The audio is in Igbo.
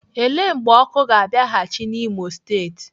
Ele mgbe ọkụ ga-abịaghịchi n'Imo steeti?